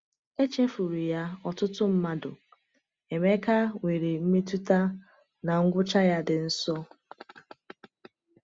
Echefuru ya ọtụtụ mmadụ, Emeka nwere mmetụta na ngwụcha ya dị nso.